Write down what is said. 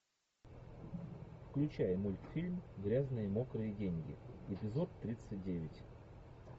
включай мультфильм грязные мокрые деньги эпизод тридцать девять